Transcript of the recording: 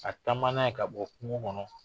Ka taama n'a ye ka bɔ kungo kɔnɔ